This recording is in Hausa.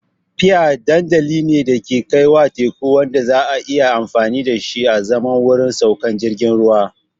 Pier dandali ne da ke kaiwa teku wanda za a iya amfani da shi azaman wurin saukar jiragen ruwa.